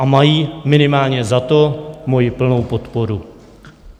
A mají minimálně za to moji plnou podporu.